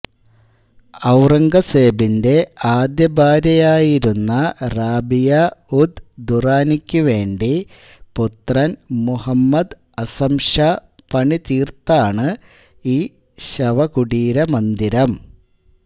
ഔറംഗസേബിന്റെ ആദ്യഭാര്യയായിരുന്ന റാബിയ ഉദ് ദുറാനിക്ക് വേണ്ടി പുത്രൻ മുഹമ്മദ് അസം ഷാ പണീതീർത്താണ് ഈ ശവകുടീരമന്ദിരം